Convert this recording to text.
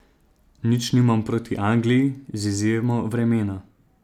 Nič nimam niti proti Angliji, z izjemo vremena.